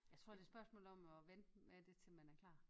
Jeg tror det er et spørgsmål om at vente med det til man er klar